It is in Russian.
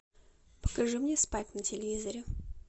покажи мне спайк на телевизоре